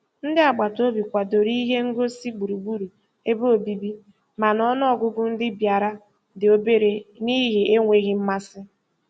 Ndị agbataobi kwadoro ihe ngosị gburugburu ebe obibi, mana ọnụọgụgụ ndị bịara dị obere n'ihi enweghị mmasị